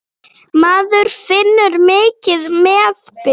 Maður finnur mikinn meðbyr.